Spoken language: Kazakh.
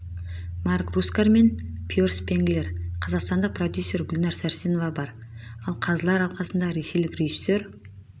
марк рускар мен пьер спенглер қазақстандық продюсер гулнәр сәрсенова бар ал қазылар алқасына ресейлік режиссер